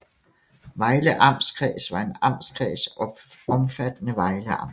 Vejle Amtskreds var en amtskreds omfattende Vejle Amt